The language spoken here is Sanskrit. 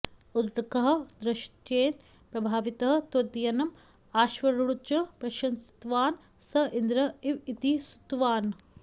उत्तङ्कः तद्दृश्येन प्रभावितः तद्वयनं अश्वारूढञ्च प्रशंसितवान् स इन्द्र एव इति स्तुतवान्